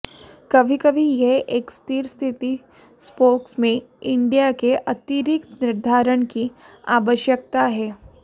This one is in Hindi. कभी कभी यह एक स्थिर स्थिति स्पोक्स में हड्डियों के अतिरिक्त निर्धारण की आवश्यकता है